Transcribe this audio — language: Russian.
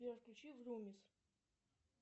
сбер включи врумис